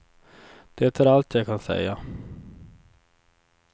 Det är allt jag kan säga.